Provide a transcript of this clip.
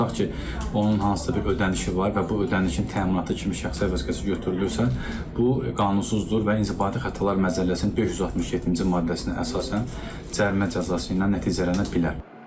Tutaq ki, onun hansısa bir ödənişi var və bu ödənişin təminatı kimi şəxsiyyət vəsiqəsi götürülürsə, bu qanunsuzdur və inzibati xətalar məcəlləsinin 567-ci maddəsinə əsasən cərimə cəzası ilə nəticələnə bilər.